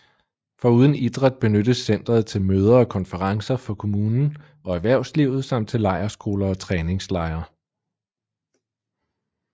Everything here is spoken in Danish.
Foruden idræt benyttes centret til møder og konferencer for kommunen og erhvervslivet samt til lejrskoler og træningslejre